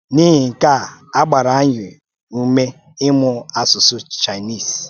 N’ihi nke a, a gbara anyị ume ịmụ asụsụ Chinese